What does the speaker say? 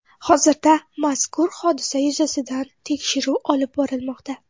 Hozirda mazkur hodisa yuzasidan tekshiruv olib borilmoqda.